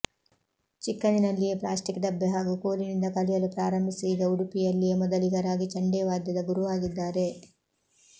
ಚಿಕ್ಕಂದಿನಲ್ಲಿಯೇ plastic ಡಬ್ಬೆ ಹಾಗೂ ಕೋಲಿನಿಂದ ಕಲಿಯಲು ಪ್ರಾರಂಭಿಸಿ ಈಗ ಉಡುಪಿಯಲ್ಲಿಯೇ ಮೊದಲಿಗರಾಗಿ ಚಂಡೇ ವಾದ್ಯದ ಗುರುವಾಗಿದ್ದಾರೆ